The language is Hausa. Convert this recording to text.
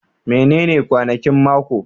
Menene kwanakin mako?